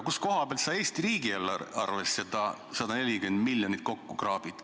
Kust kohast sa Eesti riigi eelarvesse need 140 miljonit kokku kraabid?